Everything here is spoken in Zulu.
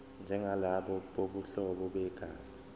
njengalabo bobuhlobo begazi